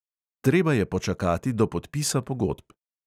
Treba je počakati do podpisa pogodb.